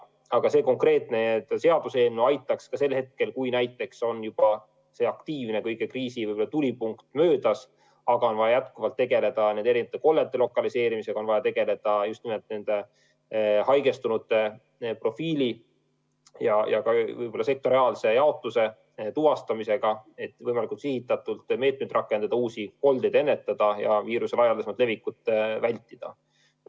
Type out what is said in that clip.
Aga see konkreetne seadus aitaks ka siis, kui on juba n-ö kriisi tulipunkt möödas, aga on vaja jätkuvalt tegeleda eri kollete lokaliseerimisega, on vaja tegeleda just nimelt nende haigestunute profiili sektoriaalse jaotuse tuvastamisega, et võimalikult sihitatult meetmeid rakendada, uusi koldeid ennetada ja viiruse laialdasemat levikut vältida.